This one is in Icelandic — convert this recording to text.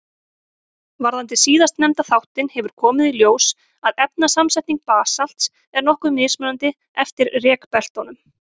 Varðandi síðastnefnda þáttinn hefur komið í ljós að efnasamsetning basalts er nokkuð mismunandi eftir rekbeltunum.